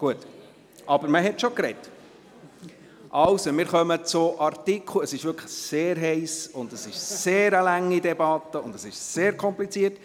Es ist wirklich sehr heiss, es ist eine sehr lange Debatte, und es ist sehr kompliziert.